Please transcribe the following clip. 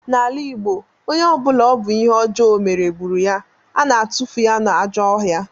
N'ala Igbo, onye ọ bụla ọ bụ ihe ọjọọ ọ mere gburu ya, a na-atufu ya n'ajọ ọhịa